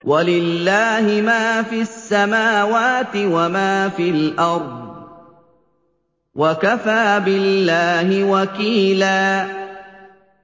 وَلِلَّهِ مَا فِي السَّمَاوَاتِ وَمَا فِي الْأَرْضِ ۚ وَكَفَىٰ بِاللَّهِ وَكِيلًا